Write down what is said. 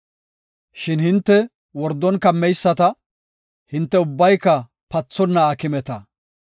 Shin hinte wordon kammeyisata; hinte ubbayka pathonna aakimeta.